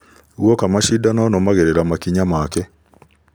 Guoka mashidano nũmagĩrĩra makinya make